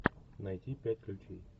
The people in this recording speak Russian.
найти пять ключей